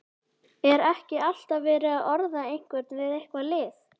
Er ekki alltaf verið að orða einhvern við eitthvað lið?